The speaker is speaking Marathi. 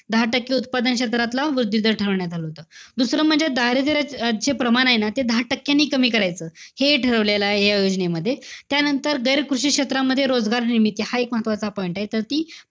दहा टक्के उत्पादन क्षेत्रातला वृद्धी दर ठरवण्यात आला होता. दुसरं म्हणजे, दारिद्र्यचे प्रमाण ए ना, ते दहा टक्क्यांनी कमी करायचं. हे हि ठरवलं आहे या योजनेमध्ये. त्यानंतर, गैर कृषी क्षेत्रामध्ये रोगात निर्मिती हा एक महत्वाचा point ए. तर ती,